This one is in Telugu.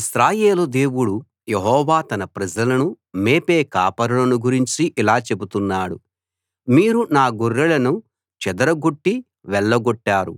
ఇశ్రాయేలు దేవుడు యెహోవా తన ప్రజలను మేపే కాపరులను గురించి ఇలా చెబుతున్నాడు మీరు నా గొర్రెలను చెదరగొట్టి వెళ్ళగొట్టారు